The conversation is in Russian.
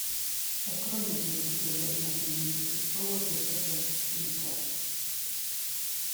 открой мне три богатыря и наследница престола эдварда цвика